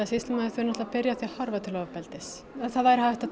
sýslumaður þurfi að byrja á því að horfa til ofbeldis það væri hægt að